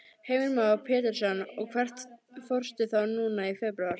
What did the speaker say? Heimir Már Pétursson: Og hvert fórstu þá núna í febrúar?